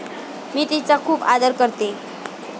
मी तिचा खूप आदर करते.